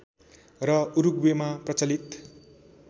र उरूग्वेमा प्रचलित